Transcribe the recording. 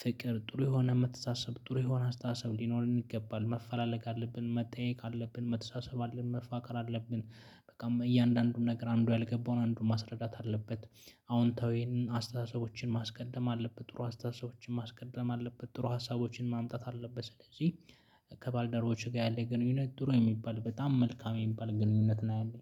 ፍቅር ጥሩ የሆነ የምትታሰብ ጥሩ የሆነ አስተሳሰብ ሊኖር ይገባል መፈላለግ አለብን መጠየቅ አለብን መተሳሰብ አለብን መፋቀር አለብን። በቃም እያንዳንዱም ነገር አንዱ ያልገባውን አንዱን ማስረዳት አለበት። አዎንታዊን አስተሳሰቦችን ማስቀደም አለበት ጥሩ አስተሳሰቦችን ማስቀደም አለበት ጥሩ ሀሳቦችን ማምጣት አለበት ስለዚህ። ከባልደረቦቼ ጋር ያለ ግንኙነት ድሮ የሚባል በጣም መልካም የሚባል ግንኙነት ነው ያለኝ